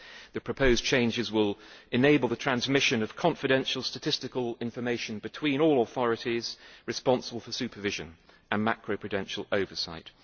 The proposed changes will enable the transmission of confidential statistical information between all authorities responsible for supervision and macro prudential oversight.